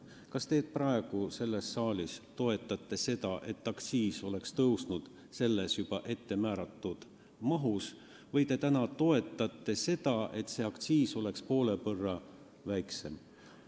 Kas te praegu selles saalis toetate seda, et aktsiis tõuseks selles juba ettemääratud mahus, või te toetate seda, et see aktsiis oleks poole võrra väiksem?